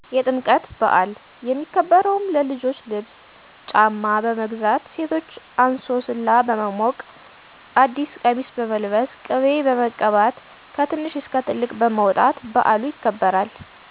የጥምቀት በዐል። የሚከበረውም_ለልጆች ልብስ ;ጫማ; በመግዛት; ሴቶች እንሶስላ በመሞቅ ;አዲስ ቀሚስ በመልበስ ;ቅቤ በመቀባት ;ከትንሽ እስከ ትልቅ በመውጣት ;በዐሉ ይከበራል።